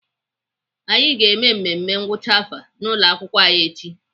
Anyị ga-eme mmemme ngwụcha afọ n'ụlọakwụkwọ anyị echi.